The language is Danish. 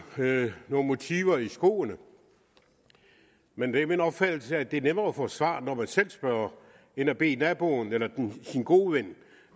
motiver i skoene men det er min opfattelse at det er nemmere at få svar når man selv spørger end at bede naboen eller ens gode ven